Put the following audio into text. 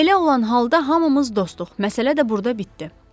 Belə olan halda hamımız dostuq, məsələ də burda bitdi.